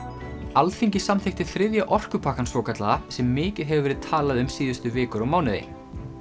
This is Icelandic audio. Alþingi samþykkti þriðja orkupakkann svokallaða sem mikið hefur verið talað um síðustu vikur og mánuði